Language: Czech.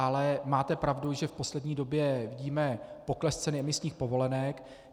Ale máte pravdu, že v poslední době vidíme pokles ceny emisních povolenek.